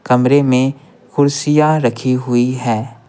कमरे में कुर्सियाँ रखी हुई है।